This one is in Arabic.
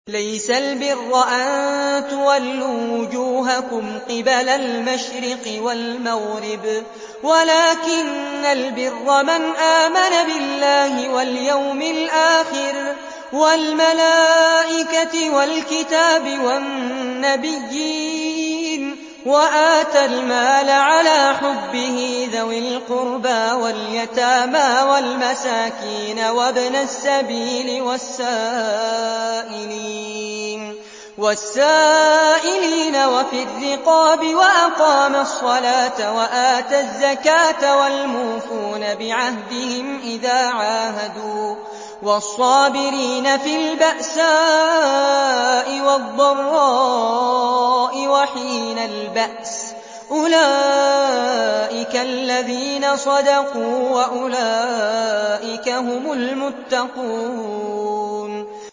۞ لَّيْسَ الْبِرَّ أَن تُوَلُّوا وُجُوهَكُمْ قِبَلَ الْمَشْرِقِ وَالْمَغْرِبِ وَلَٰكِنَّ الْبِرَّ مَنْ آمَنَ بِاللَّهِ وَالْيَوْمِ الْآخِرِ وَالْمَلَائِكَةِ وَالْكِتَابِ وَالنَّبِيِّينَ وَآتَى الْمَالَ عَلَىٰ حُبِّهِ ذَوِي الْقُرْبَىٰ وَالْيَتَامَىٰ وَالْمَسَاكِينَ وَابْنَ السَّبِيلِ وَالسَّائِلِينَ وَفِي الرِّقَابِ وَأَقَامَ الصَّلَاةَ وَآتَى الزَّكَاةَ وَالْمُوفُونَ بِعَهْدِهِمْ إِذَا عَاهَدُوا ۖ وَالصَّابِرِينَ فِي الْبَأْسَاءِ وَالضَّرَّاءِ وَحِينَ الْبَأْسِ ۗ أُولَٰئِكَ الَّذِينَ صَدَقُوا ۖ وَأُولَٰئِكَ هُمُ الْمُتَّقُونَ